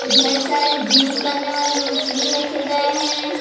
ढेर सारे जिम करने वाली मशीन रखे गए हैं।